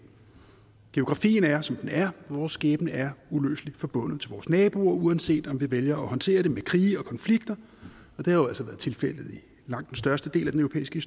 geografien er som den er vores skæbne er uløseligt forbundet til vores naboer uanset om vi vælger at håndtere det med krige og konflikter og det har jo altså været tilfældet i langt den største del af den europæiske